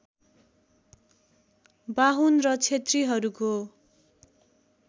बाहुन र क्षेत्रीहरूको